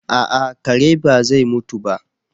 A'a kare ba zai mutu ba